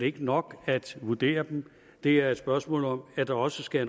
ikke nok at vurdere dem det er et spørgsmål om at der også skal